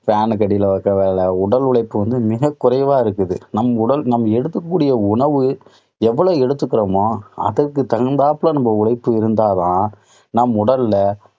fan னுக்கு அடியில உட்கார வேலை உடல் உழைப்பு வந்து மிகக் குறைவா இருக்குது. நம் உடல் நாம் எடுத்துக்கக்கூடிய உணவு எவ்வளோ எடுத்துக்கறமோ, அதற்குத் தகுந்தாப்புல நம்ம உழைப்பு இருந்ததா தான், நம் உடல்ல